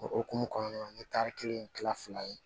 O hokumu kɔnɔna na n ye tari kelen kila fila ye